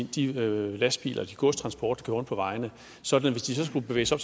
de lastbiler og de godstransporter rundt på vejene sådan at hvis de så skulle bevæge sig